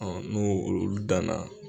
n'olu danna